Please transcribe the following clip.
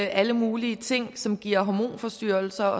alle mulige ting som giver hormonforstyrrelser